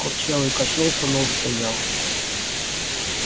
курчавый качнулся но устоял